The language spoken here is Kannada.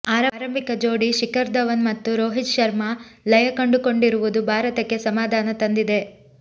ಆರಂಭಿಕ ಜೋಡಿ ಶಿಖರ್ ಧವನ್ ಮತ್ತು ರೋಹಿತ್ ಶರ್ಮಾ ಲಯ ಕಂಡುಕೊಂಡಿರುವುದು ಭಾರತಕ್ಕೆ ಸಮಾಧಾನ ತಂದಿದೆ